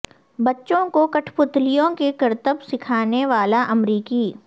بچوں کو کٹھ پتلیوں کے کرتب سکھانے والا امریکی